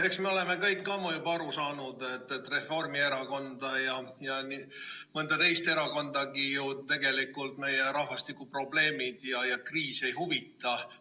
Eks me oleme kõik ammu juba aru saanud, et Reformierakonda ja mõnda teist erakondagi ju tegelikult meie rahvastikuprobleemid ja -kriis ei huvita.